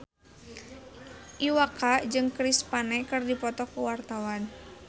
Iwa K jeung Chris Pane keur dipoto ku wartawan